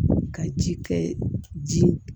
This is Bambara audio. Ka ji kɛ ji